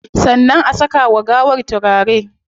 Sannan a saka wa gawar turare